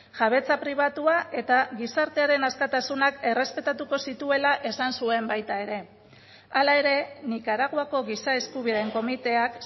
jabetza pribatua eta gizartearen askatasunak errespetatuko zituela esan zuen baita ere hala ere nikaraguako giza eskubideen komiteak